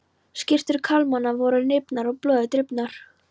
Skyrtur karlmannanna voru rifnar og blóði drifnar.